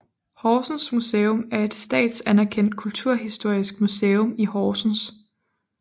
Horsens Museum er et statsanerkendt kulturhistorisk museum i Horsens